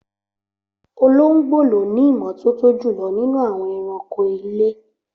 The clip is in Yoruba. Olóngbò ló ní ìmọ́tótó jùlọ nínú àwọn ẹranko ilé